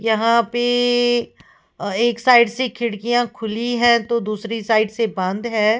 यहां पे एक साइड से खिड़कियां खुली है तो दूसरी साइड से बंद है।